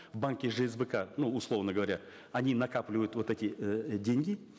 в банке жсбк ну условно говоря они накапливают вот эти э деньги